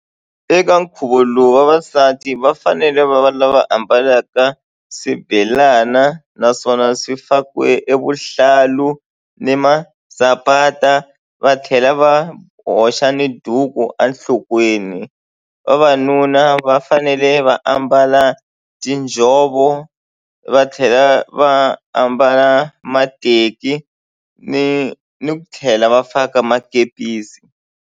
Eka nkhuvo lowu vavasati va fanele va va lava ambalaka swibelana naswona swi fakiwe evuhlalu ni masapati va tlhela va hoxa ni duku enhlokweni. Vavanuna va fanele va ambala tinjhovo va tlhela va ambala mateki ni ni ku tlhela va faka makepisi.